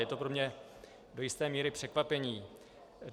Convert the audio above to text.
Je to pro mne do jisté míry překvapení.